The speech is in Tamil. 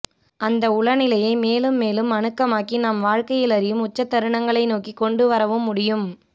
அந்த உளநிலையை மேலும் மேலும் அணுக்கமாக்கி நாம் வாழ்க்கையிலறியும் உச்சத்தருணங்களை நோக்கிக் கொண்டுவரவும் முடியும்